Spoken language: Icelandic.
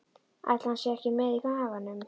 Ætli hann sé ekki með í maganum?